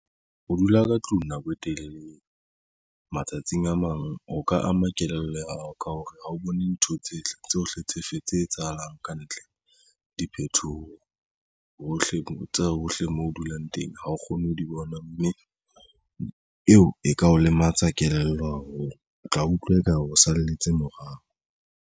Ho dula ka tlung nako e telele matsatsing a mang ho ka ama kelello ao ka hore ha o bone ntho tsohle tsohle tse fe tse etsahalang ka ntle. Diphethoho hohle hohle moo o dulang teng. Ha o kgone ho di bona, mme eo e ka o lematsa kelello haholo o tla utlwa eka o salletse morao.